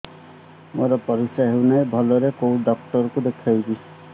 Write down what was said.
ମୋର ପରିଶ୍ରା ହଉନାହିଁ ଭଲରେ କୋଉ ଡକ୍ଟର କୁ ଦେଖେଇବି